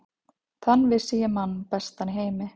Þann vissi ég mann bestan í heimi.